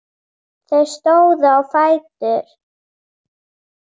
Þeir stóðu á fætur.